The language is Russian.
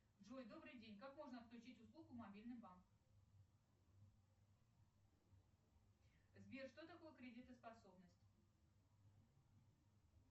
джой добрый день как можно отключить услугу мобильный банк сбер что такое кредитоспособность